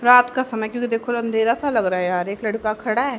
रात का समय क्योंकि देखो अंधेरा से लग रहा है यार एक लड़का खड़ा है।